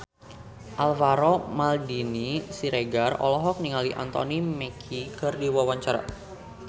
Alvaro Maldini Siregar olohok ningali Anthony Mackie keur diwawancara